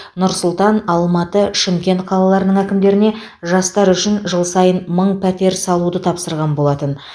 нұр сұлтан алматы шымкент қалаларының әкімдеріне жастар үшін жыл сайын мың пәтер салуды тапсырған болатын